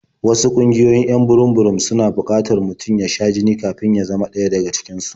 Wasu ƙungiyoyin 'yan burum-burum suna buƙatar mutum ya sha jini kafin ya zama ɗaya daga cikin su.